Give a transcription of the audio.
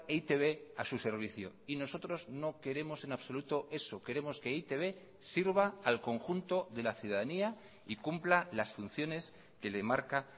e i te be a su servicio y nosotros no queremos en absoluto eso queremos que e i te be sirva al conjunto de la ciudadanía y cumpla las funciones que le marca